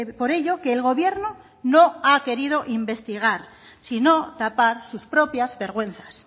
por ello que el gobierno no ha querido investigar sino tapar sus propias vergüenzas